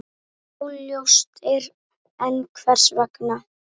Óljóst er enn hvers vegna.